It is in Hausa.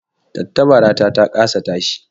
Tattabarata ta kasa tashi